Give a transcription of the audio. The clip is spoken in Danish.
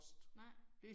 Nej